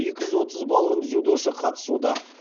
екі жүз отыз балғын дзюдошы қатысуда